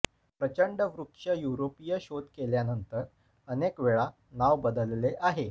प्रचंड वृक्ष युरोपीय शोध केल्यानंतर अनेक वेळा नाव बदलले आहे